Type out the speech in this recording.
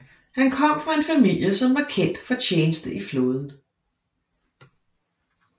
Han kom fra en familie som var kendt for tjeneste i flåden